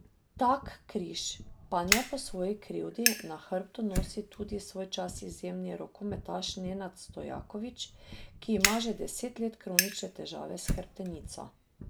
Tak križ, pa ne po svoji krivdi, na hrbtu nosi tudi svojčas izjemni rokometaš Nenad Stojakovič, ki ima že deset let kronične težave s hrbtenico.